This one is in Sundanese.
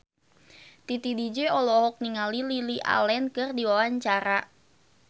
Titi DJ olohok ningali Lily Allen keur diwawancara